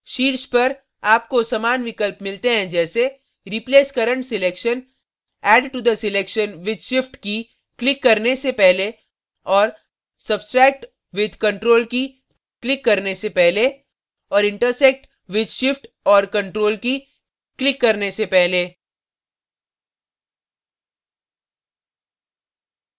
शीर्ष पर आपको समान विकल्प मिलते हैं जैसे replace current selection add to the selection with shift key click करने से पहले और substract with ctrl key click करने से पहले और intersect with shift और ctrl key क्लिक करने से पहले